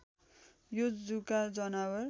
यो जुका जनावर